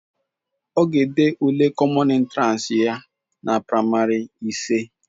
Ọ ga-ede ule kọmọn entiransi ya na praịmarị ise.